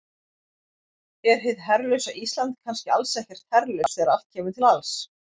Er hið herlausa Ísland kannski alls ekkert herlaust þegar allt kemur til alls?